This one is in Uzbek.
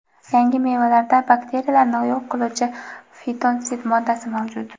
yangi mevalarda bakteriyalarni yo‘q qiluvchi fitonsid moddasi mavjud.